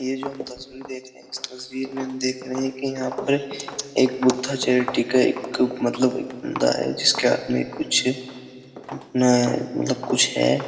ये जो हम तस्वीर देख रहे है इस तस्वीर में हम देख रहे है कि यहां पर एक बुद्धा चैरिटी का एक मतलब दांए जिसके हाथ में कुछ उतना मतलब कुछ है।